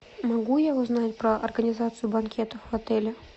могу я узнать про организацию банкетов в отеле